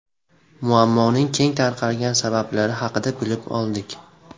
Muammoning keng tarqalgan sabablari haqida bilib oldik.